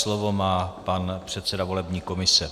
Slovo má pan předseda volební komise.